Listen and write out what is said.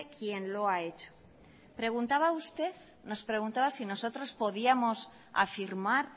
quien lo ha hecho nos preguntaba si nosotros podíamos afirmar